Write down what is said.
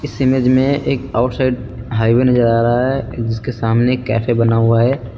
इस इमेज में एक आउटसाइड हाईवे नजर आ रहा है जिसके सामने कैफ़े बना हुआ है।